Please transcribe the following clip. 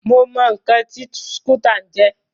Mo mọ ǹkan tí skútà ń jẹ́.